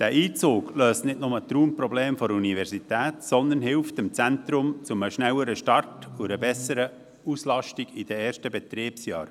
Dieser Einzug löst nicht nur die Raumprobleme der Universität, sondern hilft dem Zentrum zu einem schnelleren Start und einer besseren Auslastung während der ersten Betriebsjahre.